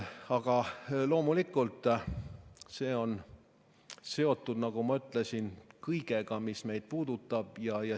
Aga loomulikult see on seotud, nagu ma ütlesin, kõigega, mis meid puudutab.